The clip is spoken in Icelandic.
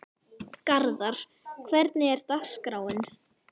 Garðar, hvernig er dagskráin?